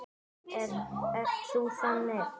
Ert þú þannig?